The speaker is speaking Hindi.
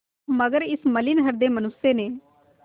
मगर इस मलिन हृदय मनुष्य ने